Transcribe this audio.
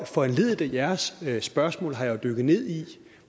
foranlediget af jeres spørgsmål har jeg jo dykket ned i